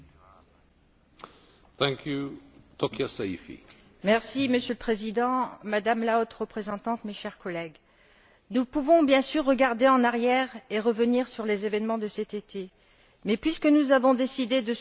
Monsieur le Président, Madame la Haute représentante, chers collègues, nous pouvons bien sûr regarder en arrière et revenir sur les événements de cet été, mais puisque nous avons décidé de soutenir l'Égypte dans ce moment difficile, parlons plutôt de l'avenir!